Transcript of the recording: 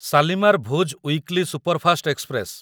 Shalimar Bhuj weekly superfast express